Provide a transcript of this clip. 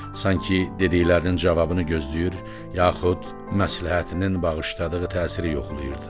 Sanki dediklərinin cavabını gözləyir, yaxud məsləhətinin bağışladığı təsiri yoxlayırdı.